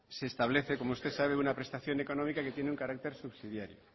se establece como usted sabe una prestación económica que tiene un carácter subsidiario